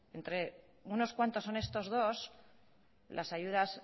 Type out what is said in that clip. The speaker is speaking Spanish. entre unos cuantos son estos dos